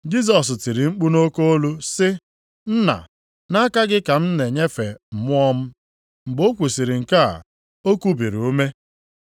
Jisọs tiri mkpu nʼoke olu sị, “Nna, nʼaka gị ka m na-enyefe mmụọ m.” Mgbe o kwusiri nke a, o kubiri ume.